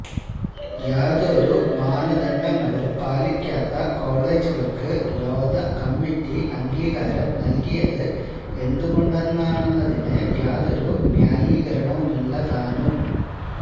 യാതൊരു മാനദണ്ഡങ്ങളും പാലിക്കാത്ത കോളെജുകൾക്ക് ലോധ കമ്മിറ്റി അംഗീകാരം നൽകിയത് എന്തുകൊണ്ടാണെന്നതിന് യാതൊരു ന്യായീകരണവുമില്ല താനും